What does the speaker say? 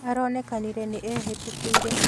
Aronekanire nĩ ehiĩtũkĩri